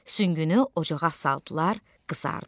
Süngünü ocağa saldılar, qızardı.